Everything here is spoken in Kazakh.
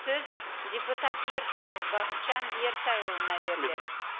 сөз депутат ертаев бақытжан ертайұлына беріледі